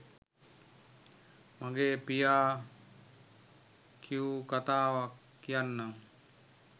මගේ පියා කියූ කතාවක් කියන්නම්.